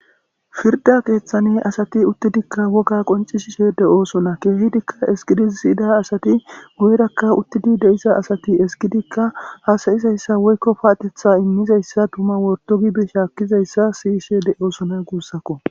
firda keeththane asati uttidikka woga qonci shishe de7oosona keehidikka eskidi siyida asati guyerakka uttidi de7isa asati eskidikka haasayizayssa woykko paatetha immizayssa tuma wordogibi shaakkizayssa siyishe de7oosona guussakko